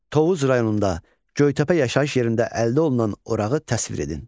Tovuz rayonunda Göytəpə yaşayış yerində əldə olunan orağı təsvir edin.